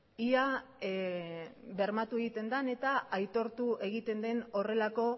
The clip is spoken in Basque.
eta ea aitortu egiten den horrelako